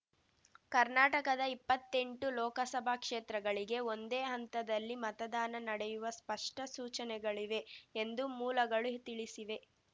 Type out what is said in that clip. ಕರ್ನಾಟಕದ ಇಪ್ಪತ್ತೆಂಟು ಲೋಕಸಭಾ ಕ್ಷೇತ್ರಗಳಿಗೆ ಒಂದೇ ಹಂತದಲ್ಲಿ ಮತದಾನ ನಡೆಯುವ ಸ್ಪಷ್ಟ ಸೂಚನೆಗಳಿವೆ ಎಂದೂ ಮೂಲಗಳು ತಿಳಿಸಿವೆ